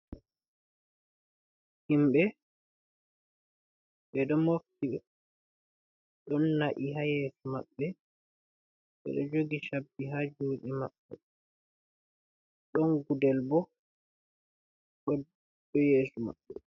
Himɓe ɓe ɗo mofti ɗon na'i haa yeeso maɓɓe, ɓo ɗo jogi cabbi haa juuɗe maɓɓe, ɗon gudel bo o ɗo yeeso maɓɓe.